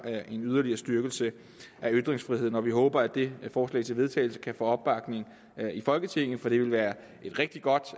en yderligere styrkelse af ytringsfriheden vi håber at det forslag til vedtagelse kan få opbakning i folketinget for det vil være et rigtig godt